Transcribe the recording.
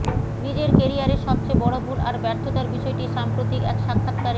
নিজের ক্যারিয়ারের সবচেয়ে বড় ভুল আর ব্যর্থতার বিষয়টি সাম্প্রতিক এক সাক্ষাৎকারে